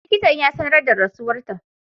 Likitan ya sanar da rasuwarta.